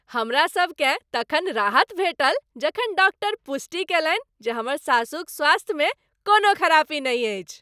हमरासभकेँ तखन राहत भेटल जखन डाक्टर पुष्टि कयलनि जे हमर सासुक स्वास्थ्यमे कोनो खरापी नहि अछि।